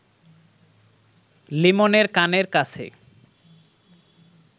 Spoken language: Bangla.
লিমনের কানের কাছে